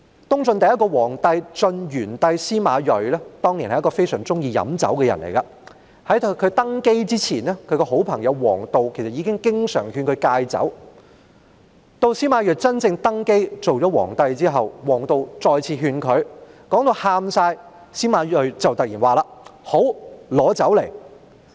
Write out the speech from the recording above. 東晉第一個皇帝晉元帝司馬睿是一個非常喜歡喝酒的人，在他登基之前，他的好朋友王導經常勸他戒酒，當司馬睿正式登基後，王導再次聲淚俱下地規勸他，司馬睿便突然說："好，拿酒來。